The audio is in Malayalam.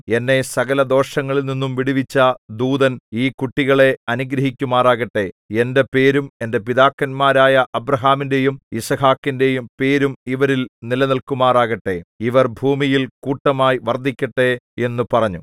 എന്നെ സകലദോഷങ്ങളിൽനിന്നും വിടുവിച്ച ദൂതൻ ഈ കുട്ടികളെ അനുഗ്രഹിക്കുമാറാകട്ടെ എന്റെ പേരും എന്റെ പിതാക്കന്മാരായ അബ്രാഹാമിന്‍റെയും യിസ്ഹാക്കിന്റെയും പേരും ഇവരിൽ നിലനില്‍ക്കുമാറാകട്ടെ ഇവർ ഭൂമിയിൽ കൂട്ടമായി വർദ്ധിക്കട്ടെ എന്നു പറഞ്ഞു